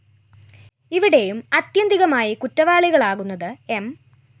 ഇവിടെയും അത്യന്തികമായി കുറ്റവാളികളാകുന്നത് എം